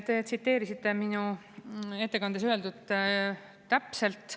Te tsiteerisite minu ettekandes öeldut täpselt.